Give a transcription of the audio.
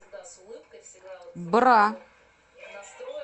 бра